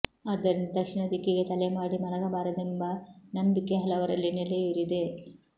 ಆದ್ದರಿಂದ ದಕ್ಷಿಣ ದಿಕ್ಕಿಗೆ ತಲೆ ಮಾಡಿ ಮಲಗಬಾರದೆಂಬ ನಂಬಿಕೆ ಹಲವರಲ್ಲಿ ನೆಲೆಯೂರಿದೆ